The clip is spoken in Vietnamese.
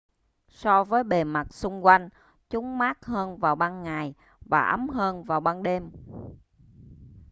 so với bề mặt xung quanh chúng mát hơn vào ban ngày và ấm hơn vào ban đêm